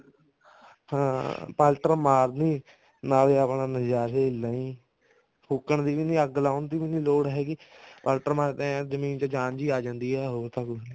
ਹਾਂ ਪਲਟਰ ਮਾਰਦੀ ਨਾਲੇ ਆਪਣਾ ਨਜ਼ਾਰੇ ਲਈ ਫੂਕਣ ਦੀ ਵੀ ਅੱਗ ਲਾਉਣ ਦੀ ਲੋੜ ਵੀ ਨੀ ਹੈਗੀ ਪਲਟਰ ਮਾਰ ਕੇ ਐਵੇਂ ਜਮੀਨ ਚ ਜਾਣ ਜੀ ਆ ਜਾਂਦੀ ਆ ਹੋਰ ਤਾਂ ਕੁੱਝ ਨੀ